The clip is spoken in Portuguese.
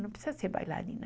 Não precisa ser bailarina.